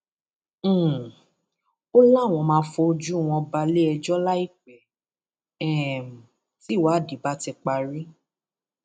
um ó láwọn máa fojú wọn balẹẹjọ láìpẹ um tìwádìí bá ti parí